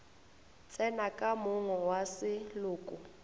tsene ka monga wa seloko